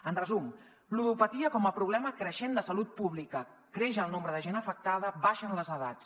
en resum ludopatia com a problema creixent de salut pública creix el nombre de gent afectada baixen les edats